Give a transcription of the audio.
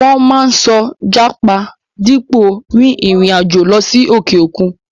Wọ́n máa ń sọ jápa dípò rin ìrìn àjò lọ sí òkè òkun.